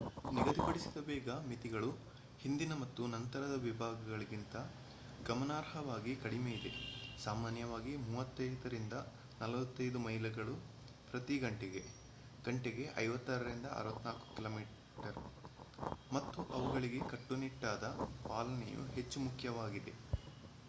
ನಿಗದಿಪಡಿಸಿದ ವೇಗದ ಮಿತಿಗಳು ಹಿಂದಿನ ಮತ್ತು ನಂತರದ ವಿಭಾಗಗಳಿಗಿಂತ ಗಮನಾರ್ಹವಾಗಿ ಕಡಿಮೆಯಿದೆ - ಸಾಮಾನ್ಯವಾಗಿ 35-40 ಮೈಲಿಗಳು ಪ್ರತಿ ಘಂಟೆಗೆ ಗಂಟೆಗೆ 56-64 ಕಿಮೀ - ಮತ್ತು ಅವುಗಳಿಗೆ ಕಟ್ಟುನಿಟ್ಟಾದ ಪಾಲನೆಯು ಹೆಚ್ಚು ಮುಖ್ಯವಾಗಿದೆ